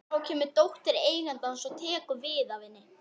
Þá kemur dóttir eigandans og tekur við af henni.